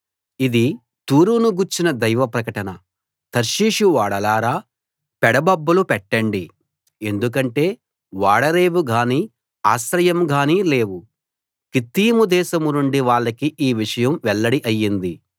ఇది తూరును గూర్చిన దైవ ప్రకటన తర్షీషు ఓడలారా పెడ బొబ్బలు పెట్టండి ఎందుకంటే ఓడరేవు గానీ ఆశ్రయం గానీ లేవు కిత్తీము దేశం నుండి వాళ్లకి ఈ విషయం వెల్లడి అయింది